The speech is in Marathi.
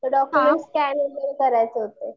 तर डॉक्युमेंट स्कॅन वगैरे करायचे होते.